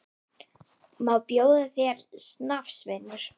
Má bjóða þér snafs, vinur?